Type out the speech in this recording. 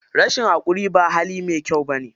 Rashin haƙuri ba hali mai kyau bane.